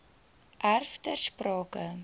erf ter sprake